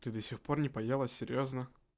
ты до сих пор не поела серьёзно